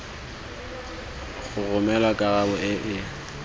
go romelwa karabo e e